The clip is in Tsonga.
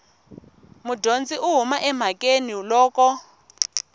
mudyondzi u huma emhakeni loko